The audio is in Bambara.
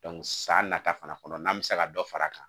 san nata fana kɔnɔ n'an bɛ se ka dɔ fara a kan